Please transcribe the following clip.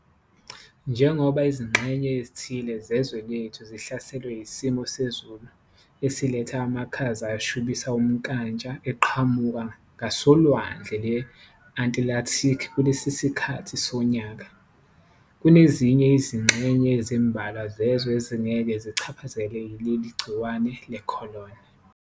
Njengoba izingxenye ezithile zezwe lethu zihlaselwe isimo sezulu esiletha amakhaza ashubisa umnkantsha eqhamuka ngasoLwandle lwe-Antilathikhi kulesi sikhathi sonyaka, kunezinye izingxenye ezimbalwa zezwe ezingeke zichaphazelwe yileli gciwane le-corona.